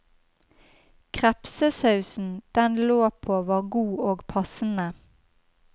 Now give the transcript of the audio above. Krepsesausen den lå på var god og passende.